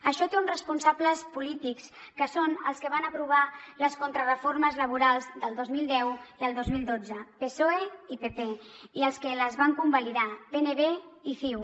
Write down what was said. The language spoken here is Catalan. això té uns responsables polítics que són els que van aprovar les contrareformes laborals del dos mil deu i el dos mil dotze psoe i pp i els que les van convalidar pnb i ciu